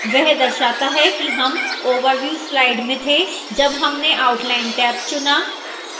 वह दर्शाता है कि हम overview slide में थे जब हमने outline tab चुना